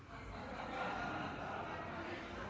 har